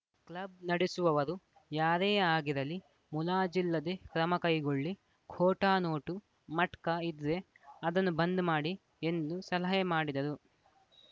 club ನಡೆಸುವವರು ಯಾರೇ ಆಗಿರಲಿ ಮುಲಾಜಿಲ್ಲದೆ ಕ್ರಮ ಕೈಗೊಳ್ಳಿ ಖೋಟಾ ನೋಟು ಮಟ್ಕಾ ಇದ್ರೆ ಅದನ್ನು ಬಂದ್‌ ಮಾಡಿ ಎಂದು ಸಲಹೆ ಮಾಡಿದರು